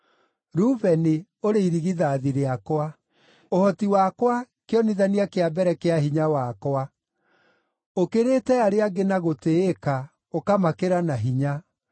“Rubeni, ũrĩ irigithathi rĩakwa, ũhoti wakwa, kĩonithania kĩa mbere kĩa hinya wakwa; ũkĩrĩte arĩa angĩ na gũtĩĩka, ũkamakĩra na hinya.